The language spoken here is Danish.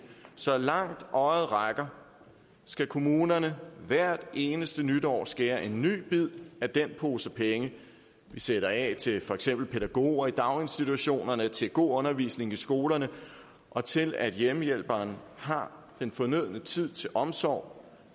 så langt øjet rækker skal kommunerne hvert eneste nytår skære en ny bid af den pose penge de sætter af til for eksempel pædagoger i daginstitutionerne til god undervisning i skolerne og til at hjemmehjælperne har den fornødne tid til omsorg